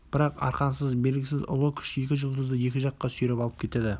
бірақ арқансыз белгісіз ұлы күш екі жұлдызды екі жаққа сүйреп алып кетеді